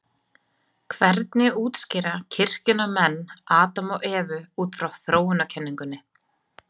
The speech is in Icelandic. Hvernig útskýra kirkjunnar menn Adam og Evu út frá þróunarkenningunni?